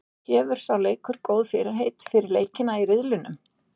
Gefur sá leikur góð fyrirheit fyrir leikina í riðlinum?